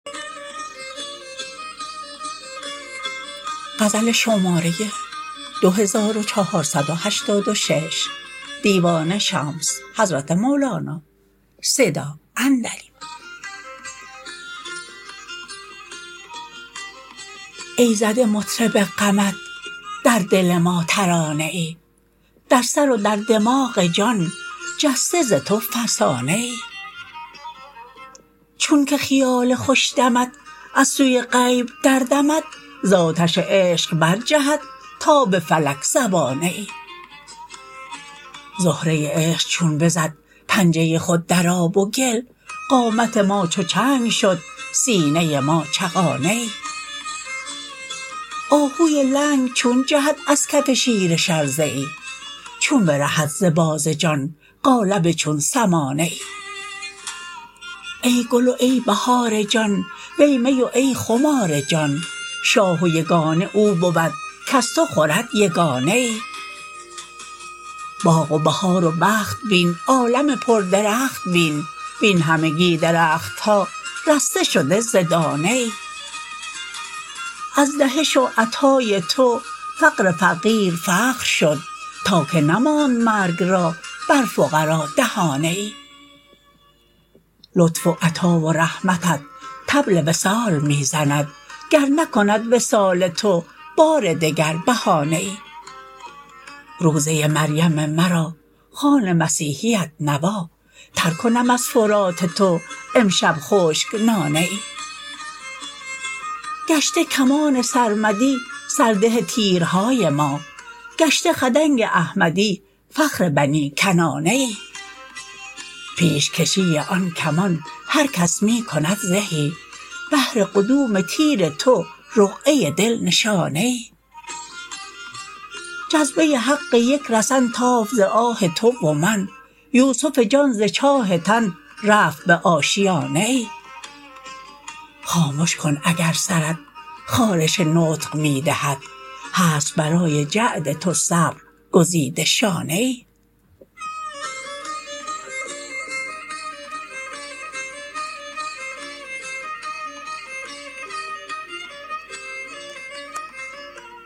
ای زده مطرب غمت در دل ما ترانه ای در سر و در دماغ جان جسته ز تو فسانه ای چونک خیال خوش دمت از سوی غیب دردمد ز آتش عشق برجهد تا به فلک زبانه ای زهره عشق چون بزد پنجه خود در آب و گل قامت ما چو چنگ شد سینه ما چغانه ای آهوی لنگ چون جهد از کف شیر شرزه ای چون برهد ز باز جان قالب چون سمانه ای ای گل و ای بهار جان وی می و ای خمار جان شاه و یگانه او بود کز تو خورد یگانه ای باغ و بهار و بخت بین عالم پردرخت بین وین همگی درخت ها رسته شده ز دانه ای از دهش و عطای تو فقر فقیر فخر شد تا که نماند مرگ را بر فقرا دهانه ای لطف و عطا و رحمتت طبل وصال می زند گر نکند وصال تو بار دگر بهانه ای روزه مریم مرا خوان مسیحیت نوا تر کنم از فرات تو امشب خشک نانه ای گشته کمان سرمدی سرده تیرهای ما گشته خدنگ احمدی فخر بنی کنانه ای پیش کشیی آن کمان هر کس می کند زهی بهر قدوم تیر تو رقعه دل نشانه ای جذبه حق یک رسن تافت ز آه تو و من یوسف جان ز چاه تن رفت به آشیانه ای خامش کن اگر سرت خارش نطق می دهد هست برای جعد تو صبر گزیده شانه ای